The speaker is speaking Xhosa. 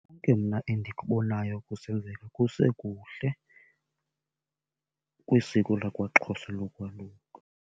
Konke mna endikubonayo kusenzeka kusekuhle kwisiko lakwaXhosa lokwaluka.